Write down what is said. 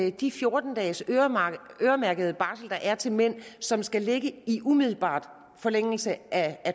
at de fjorten dages øremærkede barsel der er til mænd og som skal ligge i umiddelbar forlængelse af